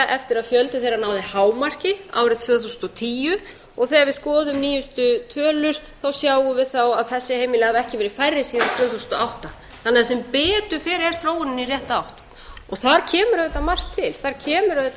eftir að fjöldi þeirra náði hámarki árið tvö þúsund og tíu og þegar við skoðum nýjustu tölur sjáum við að þessi heimili hafa ekki verið færri síðan tvö þúsund og átta sem betur fer er þróunin í rétta átt þar kemur margt til meðal annars það að